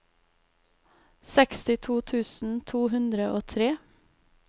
sekstito tusen to hundre og tre